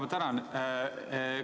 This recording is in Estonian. Ma tänan!